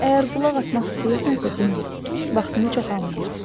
Əgər qulaq asmaq istəyirsənsə dinlə, vaxtını çox almayacam.